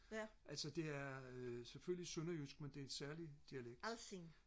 altså det er øh selvfølgelig sønderjysk men det er en særlig dialekt